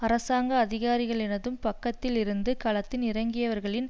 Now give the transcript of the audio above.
அரசாங்க அதிகாரிகளினதும் பக்கத்தில் இருந்து களத்தில் இறங்கியவர்களின்